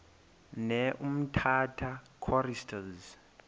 ne umtata choristers